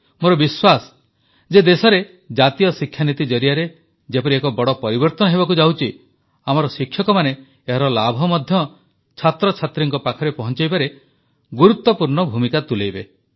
ମୋର ବିଶ୍ୱାସ ଯେ ଦେଶରେ ନୂତନ ଜାତୀୟ ଶିକ୍ଷାନୀତି ଜରିଆରେ ଯେପରି ଏକ ବଡ଼ ପରିବର୍ତ୍ତନ ହେବାକୁ ଯାଉଛି ଆମର ଶିକ୍ଷକମାନେ ଏହାର ଲାଭ ମଧ୍ୟ ଛାତ୍ରଛାତ୍ରୀଙ୍କ ପାଖରେ ପହଂଚାଇବାରେ ଗୁରୁତ୍ୱପୂର୍ଣ୍ଣ ଭୂମିକା ତୁଲାଇବେ